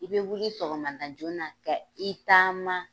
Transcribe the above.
I bɛ wuli sɔgɔmada joona ka i taama